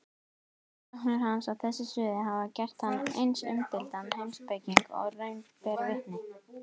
Rannsóknir hans á þessu sviði hafa gert hann eins umdeildan heimspeking og raun ber vitni.